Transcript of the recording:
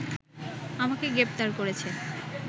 আমাকে গ্রেফতার করেছে